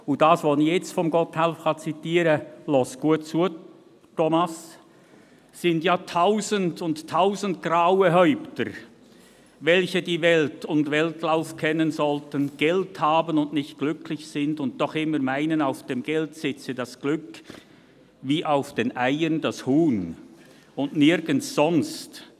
Hören Sie gut zu, Thomas Brönnimann, was ich jetzt von Gotthelf zitieren kann: «Sind ja tausend und tausend graue Häupter, welche die Welt und Weltlauf kennen sollten, Geld haben und nicht glücklich sind und doch immer meinen, auf dem Geld sitze das Glück wie auf den Eiern das Huhn und nirgends sonst.